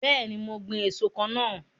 Bẹẹni, mo ń gbin èso kan náà.